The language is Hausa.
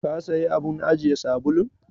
Ka sayi abun ajiye sabulun?